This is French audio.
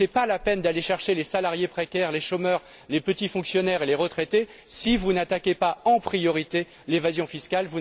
Ce n'est pas la peine de solliciter les salariés précaires, les chômeurs, les petits fonctionnaires et les retraités si vous ne vous attaquez pas en priorité à l'évasion fiscale.